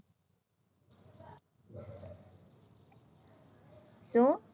શું